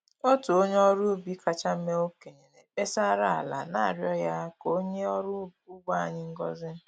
Otu onye ọrụ ubi kacha mee okenye na-ekpesara ala, na-arịọ ya ka o nye ọrụ ugbo anyị ngozị